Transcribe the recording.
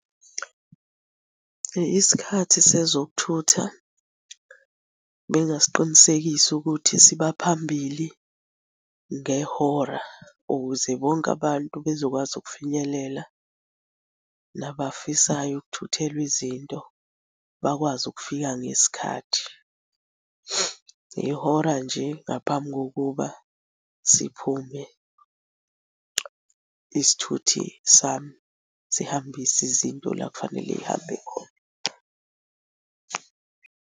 Isikhathi sezokuthutha bengingasiqinisekisa ukuthi siba phambili ngehora ukuze bonke abantu bezokwazi ukufinyelela nabafisayo ukuthuthelwa izinto bakwazi ukufika ngesikhathi. Ngehora nje ngaphambi kokuba siphume isithuthi sami sihambise izinto la ekufanele y'hambe khona.